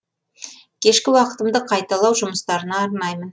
кешкі уақытымды қайталау жұмыстарына арнаймын